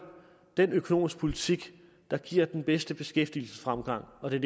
den økonomiske politik der giver den bedste beskæftigelsesfremgang og det